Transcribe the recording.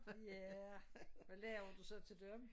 Ja hvad lavede du så til dem?